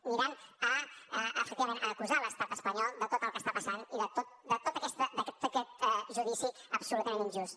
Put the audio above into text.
aniran efectivament a acusar l’estat espanyol de tot el que està passant i de tot aquest judici absolutament injust